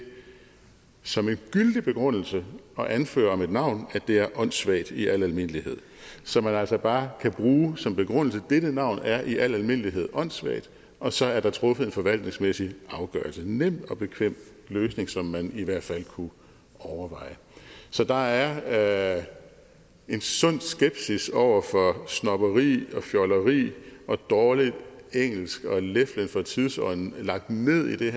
som en gyldig begrundelse at anføre om et navn at det er åndssvagt i al almindelighed så man altså bare kan bruge som begrundelse dette navn er i al almindelighed åndssvagt og så er der truffet en forvaltningsmæssig afgørelse nem og bekvem løsning som man i hvert fald kunne overveje så der er en sund skepsis over for snobberi og fjolleri og dårligt engelsk og leflen for tidsånden lagt ned i det